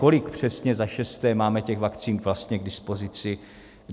Kolik přesně - za šesté - máme těch vakcín vlastně k dispozici?